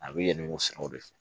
A bɛ yɛlɛ o siraw de fɛ